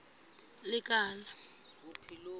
lekala